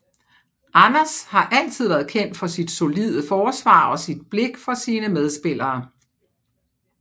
Anders har altid været kendt for sit solide forsvar og sit blik for sine medspillere